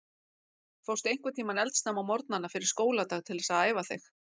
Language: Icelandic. Fórstu einhvern tímann eldsnemma á morgnana fyrir skóladag til þess að æfa þig?